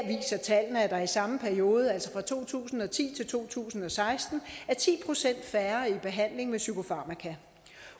tallene at der i samme periode altså fra to tusind og ti til to tusind og seksten er ti procent færre i behandling med psykofarmaka